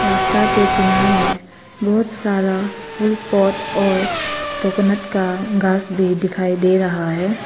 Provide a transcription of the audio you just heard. रास्ता के किनारे में बहुत सारा फुल पॉट और कोकोनट का घास भी दिखाई दे रहा है।